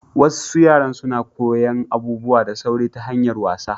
Wassu yara suna koyan abubuwa da sauri ta hanyar wasa.